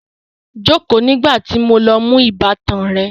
Jókòó nígbà tí mo lọ mú ìbátan rẹ